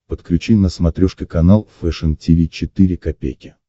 подключи на смотрешке канал фэшн ти ви четыре ка